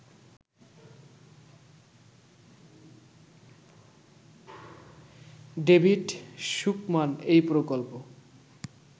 David Sukman এই প্রকল্প